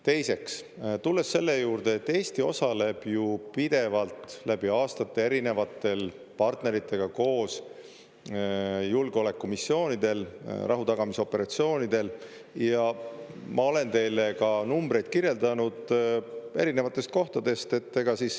Teiseks, tulles selle juurde, et Eesti osaleb ju pidevalt läbi aastate erinevate partneritega koos julgeolekumissioonidel, rahutagamisoperatsioonidel, ja ma olen teile ka numbreid kirjeldanud erinevatest kohtadest.